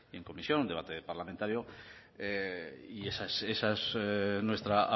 en comisión un debate parlamentario y esa es nuestra